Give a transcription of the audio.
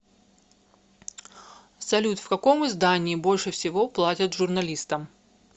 салют в каком издании больше всего платят журналистам